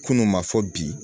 Kunun ma fɔ bi